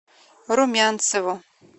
румянцеву